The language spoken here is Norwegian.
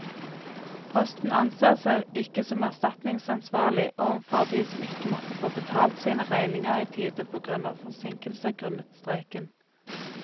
Posten anser seg ikke som erstatningsansvarlig overfor de som ikke måtte få betalt sine regninger i tide på grunn av forsinkelser grunnet streiken.